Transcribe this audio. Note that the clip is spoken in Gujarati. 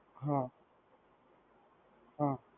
હા હા.